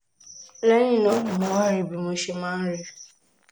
lẹ́yìn náà ni mo wá rí i bí mo ṣe máa ń rí i